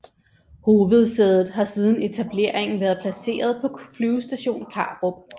Hovedsædet har siden etableringen været placeret på Flyvestation Karup